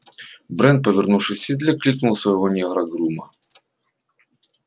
брент повернувшись в седле кликнул своего негра-грума